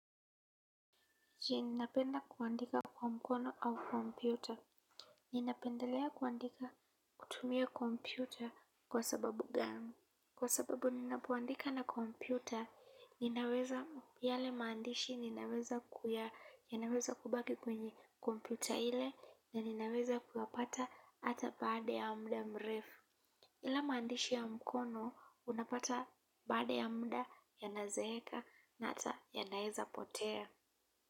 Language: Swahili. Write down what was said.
Je ninapenda kuandika kwa mkono au kompyuta ninapendelea kuandika kutumia kompyuta kwa sababu gani. Kwa sababu ninapoandika na kompyuta, ninaweza yale maandishi ninaweza kuya yanaweza kubaki kwenye kompyuta ile na ninaweza kuyapata hata baada ya muda mrefu. Ila maandishi ya mkono unapata baada ya muda yanazeeka na hata yanaeza potea.